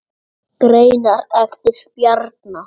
Greinar eftir Bjarna